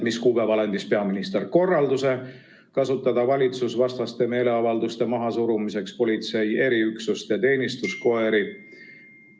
Mis kuupäeval andis peaminister korralduse kasutada valitsusvastaste meeleavalduste mahasurumiseks politsei eriüksust ja teenistuskoeri?